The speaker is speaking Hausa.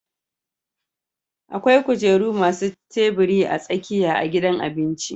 akwai kujeru masu tabiri a tsakiya a gidan abinci